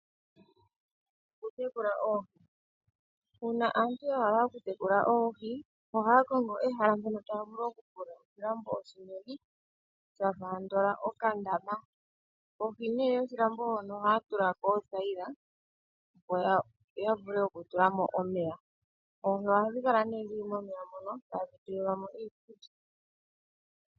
Okutekula oohi, uuna aantu yahala okutekula oohi ohaa kongo ehala mpono taavulu okufula oshilambo oshinene shafa andola okandama kohi yoshilambo hono ohaa tula ko okathaila opo yavule okutula mo omeya, oohi ohadhi kala nee momeya mono tadhi pelwa mo iikulya.